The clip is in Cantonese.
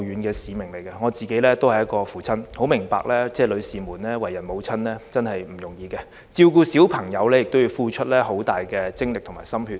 作為一名父親，我很明白為人母親並不容易，照顧子女要付出龐大精力和心血。